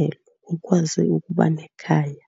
elo, ukwazi ukuba nekhaya.